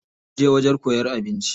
Za muje wajen koyan abinci.